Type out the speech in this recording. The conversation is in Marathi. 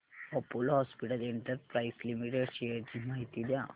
Apollo hospitals enterprise limited shares ची माहिती द्या